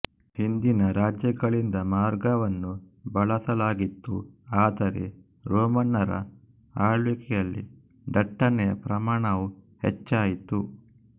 ಹಿಂದಿನ ರಾಜ್ಯಗಳಿಂದ ಮಾರ್ಗವನ್ನು ಬಳಸಲಾಗಿತ್ತು ಆದರೆ ರೋಮನ್ನರ ಅಳ್ವಿಕೆಯಲ್ಲಿ ದಟ್ಟಣೆಯ ಪ್ರಮಾಣವು ಹೆಚ್ಚಾಯಿತು